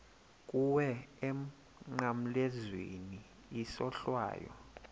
kuwe emnqamlezweni isohlwayo